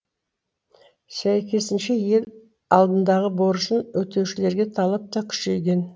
сәйкесінше ел алдындағы борышын өтеушілерге талап та күшейген